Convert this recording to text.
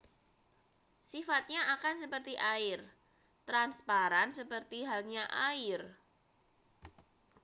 sifatnya akan seperti air transparan seperti halnya air